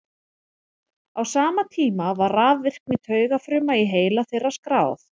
á sama tíma var rafvirkni taugafruma í heila þeirra skráð